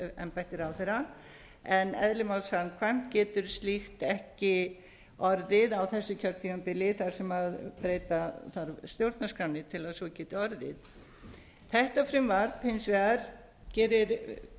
embætti ráðherra en eðli máls samkvæmt getur slíkt ekki orðið á þessu kjörtímabili þar sem breyta þarf stjórnarskránni til að svo geti orðið þetta frumvarp hins